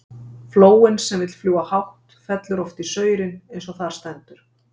Flóin sem vill fljúga hátt, fellur oft í saurinn, eins og þar stendur.